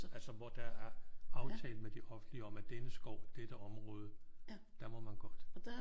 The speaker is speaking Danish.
Altså hvor der er aftalt med det offentlige om at denne skov denne område der må man godt